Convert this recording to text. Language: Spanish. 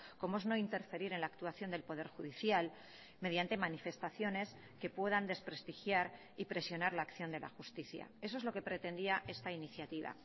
como es no interferir en la actuación del poder judicial mediante manifestaciones que puedan desprestigiar y presionar la acción de la justicia eso es lo que pretendía esta iniciativa